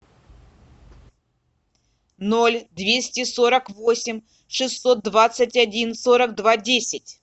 ноль двести сорок восемь шестьсот двадцать один сорок два десять